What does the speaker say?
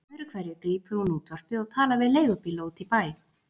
Öðru hverju grípur hún útvarpið og talar við leigubíla úti í bæ.